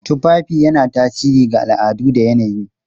Tufafi yana tasiri ga al'adu da yanayi.